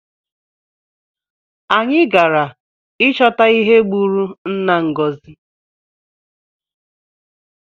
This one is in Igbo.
Anyi gara ịchọta ihe gbụrụ nna Ngozi